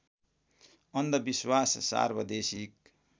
अन्धविश्वास सार्वदेशिक